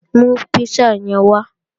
Mú písà yẹn wá!